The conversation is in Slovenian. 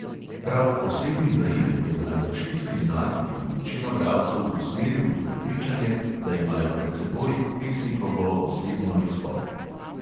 Prav osebni zaimek je najbrž tisti znak, ki bi večino bralcev usmeril v prepričanje, da imajo pred seboj pesnikovo osebno izpoved.